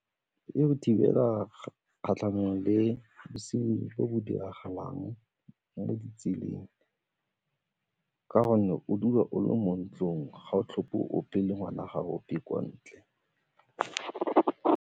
E go thibela kgatlhanong le bosenyi bo bo diragalang mo ditseleng ka gonne o dula o le mo ntlong ga o tlhoke ope le ngwana ga a ope kwa ntle.